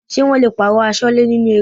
Ṣé wọn le pààrọ̀ Aṣọ́lẹ́ nínú eré?